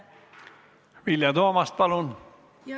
Vilja Toomast, palun!